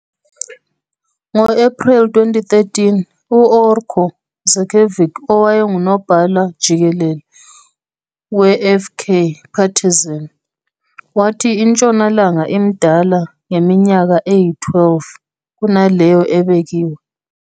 Ngo-Ephreli 2013, u- oarko Zečević, owayengunobhala jikelele we-FK Partizan, wathi iNtshonalanga imdala ngeminyaka eyi-12 kunaleyo ebekiwe.